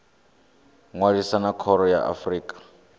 ṅwalisa na khoro ya afrika